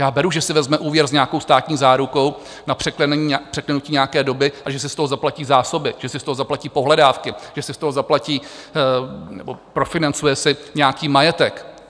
Já beru, že si vezme úvěr s nějakou státní zárukou na překlenutí nějaké doby a že si z toho zaplatí zásoby, že si z toho zaplatí pohledávky, že si z toho zaplatí nebo profinancuje si nějaký majetek.